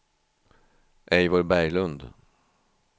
Eivor Berglund